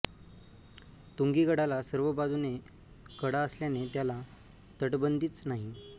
तुंगी गडाला सर्व बाजूने कडा असल्याने त्याला तटबंदीच नाही